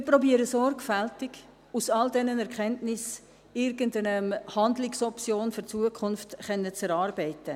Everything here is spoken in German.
Wir versuchen, sorgfältig aus all diesen Erkenntnissen irgendeine Handlungsoption für die Zukunft zu erarbeiten.